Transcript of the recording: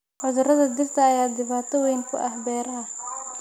Cudurada dhirta ayaa dhibaato weyn ku ah beeraha.